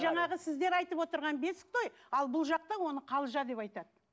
жаңағы сіздер айтып отырған бесік той ал бұл жақта оны қалжа деп айтады